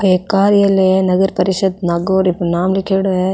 ओ एक कार्यालय है नगर परिषद् नागौर नाम लिख्योड़ो है।